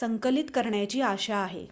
संकलित करण्याची आशा आहे